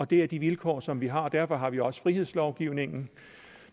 det er de vilkår som vi har og derfor har vi også frihedslovgivningen